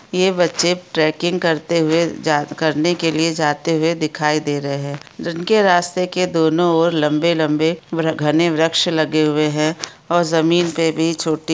ये बच्चे ट्रैकिंग करते हुए करने के लिए जाते हुए दिखाई दे रहे है जिनके रास्ते की दोनों ओर लम्बे लम्बे घने वृक्ष लगे हुए है और जमीन पे भी छोटी--